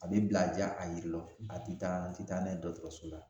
A bi bila ja a yiri la a ti taa a ti taa n'a ye dɔkɔtɔrɔso la